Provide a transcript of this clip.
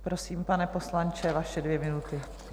Prosím, pane poslanče, vaše dvě minuty.